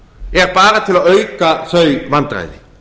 er bara til að auka þau vandræði